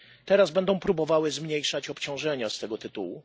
teraz będą próbowały zmniejszać obciążenia z tego tytułu.